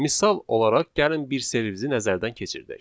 Misal olaraq gəlin bir servizi nəzərdən keçirdək.